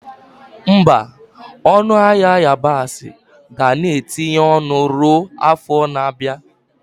Mba, ọnụ ahịa yabasị ga na-etinye ọnụ ruo afọ na-abịa.